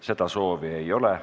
Seda soovi ei ole.